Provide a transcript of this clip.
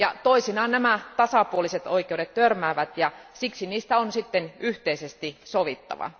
Toisinaan nämä tasapuoliset oikeudet törmäävät, ja siksi niistä on sitten yhteisesti sovittava.